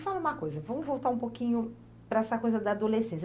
E me fala uma coisa, vamos voltar um pouquinho para essa coisa da adolescência.